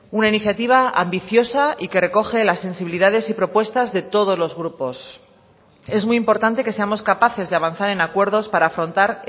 una iniciativa ambiciosa y que recoge las sensibilidades y propuestas de todos los grupos es muy importante que seamos capaces de avanzar en acuerdos para afrontar